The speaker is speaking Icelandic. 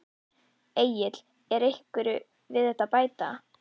Egill er einhverju við þetta að bæta?